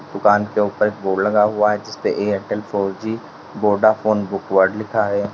दुकान के ऊपर बोर्ड लगा हुआ है Airtel four G Vodafone book word लिखा है।